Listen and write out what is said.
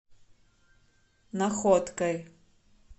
находкой